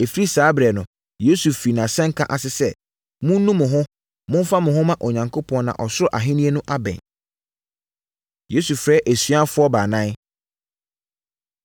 Ɛfiri saa ɛberɛ no, Yesu firii nʼasɛnka ase sɛ, “Monnu mo ho, momfa mo ho mma Onyankopɔn na ɔsoro ahennie no abɛn.” Yesu Frɛ Asuafoɔ Baanan